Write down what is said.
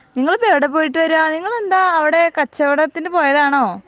നിങ്ങളിപ്പോ എവിടെ പോയിട്ട് വെരാ നിങ്ങൾ എന്ത് അവൈഡ് കച്ചവടത്തിന്ന് പോയതാണോ